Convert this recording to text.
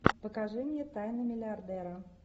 покажи мне тайны миллиардера